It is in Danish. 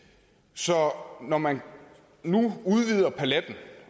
så når man nu udvider paletten